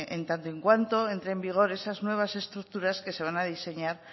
en tanto en cuanto entren en vigor esas nuevas estructuras que se van a diseñar